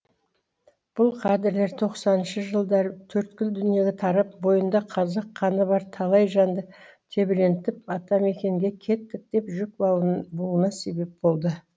бұл кадрлер тоқсаныншы жылдары төрткүл дүниені тарап бойында қазақ қаны бар талай жанды тебірентіп атамекенге кеттік деп жүк бууына себеп болды